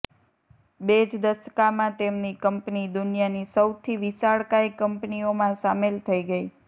બે જ દશકામાં તેમની કંપની દુનિયાની સૌથી વિશાળકાય કંપનીઓમાં સામેલ થઈ ગઈ